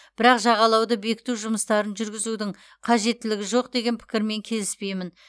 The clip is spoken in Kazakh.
бірақ жағалауды бекіту жұмыстарын жүргізудің қажеттілігі жоқ деген пікірмен келіспеймін